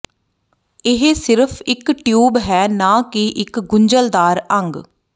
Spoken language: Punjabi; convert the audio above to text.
ਇਹ ਸਿਰਫ ਇੱਕ ਟਿਊਬ ਹੈ ਨਾ ਕਿ ਇੱਕ ਗੁੰਝਲਦਾਰ ਅੰਗ